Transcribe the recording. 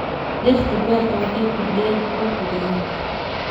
Dhirta beerta waxay kordhiyaan quruxda deegaanka.